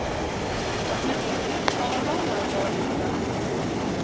Hrafnhildur, hvaða mánaðardagur er í dag?